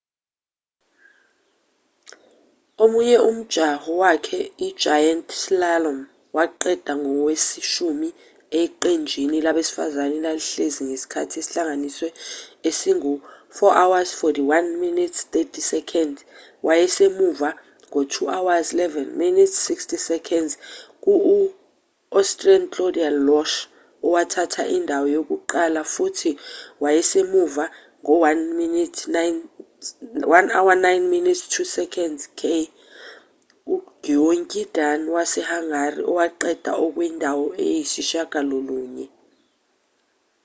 omunye umjaho wakhe i-giant slalom waqeda engoweshumi eqenjini labesifazane elalihlezi nesikhathi esihlanganisiwe esingu-4:41.30 wayesemuva ngo-2:11.60 kuu-austrian claudia loesch owathatha indawo yokuqala futhi wayesemuva ngo- 1:09.02 k-ugyöngyi dani wase-hungary owaqeda ekwindawo yesishiyagalolunye